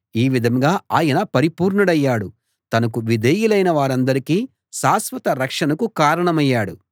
ఈ విధంగా ఆయన పరిపూర్ణుడయ్యాడు తనకు విధేయులైన వారందరి శాశ్వత రక్షణకు కారణమయ్యాడు